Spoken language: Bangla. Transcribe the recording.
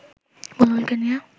বুলবুলকে নিয়ে